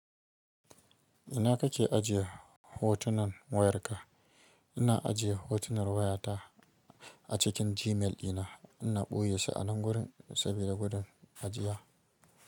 Ina kake ajiye hotunan wayarka? Ina ajiye hotunan wayata a cikin Gmail ɗina. Ina ɓoye su a nan gurin saboda gudun ajiya.